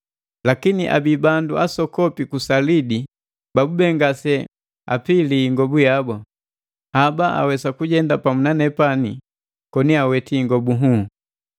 Lakini abii bandu asokopi ku Salidi babube ngase bapili ingobu yabu. Haba awesa kujenda pamu na nepani koni aweti ingobu nhuu.”